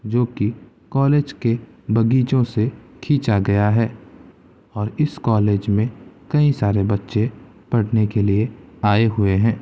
जो की कॉलेज के बगीचो से खीचा गया हैं और इस कॉलेज में कई सारे बच्चे पढ़ने के लिए आये हुए हैं।